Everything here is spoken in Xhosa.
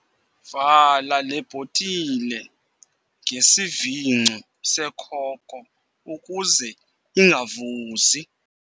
Vala le bhotile ngesivingco sekhoko ukuze ingavuzi.